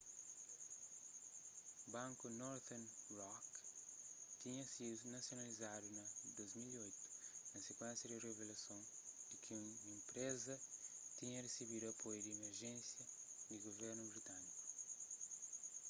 banku northern rock tinha sidu nasionalizadu na 2008 na sikuénsia di revelason di ki enpreza tinha resebidu apoiu di emerjénsia di guvernu britâniku